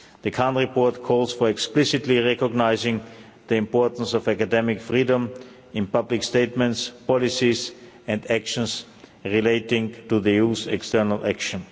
The Khan report calls for explicitly recognising the importance of academic freedom in public statements, policies and actions relating to the EU's external action.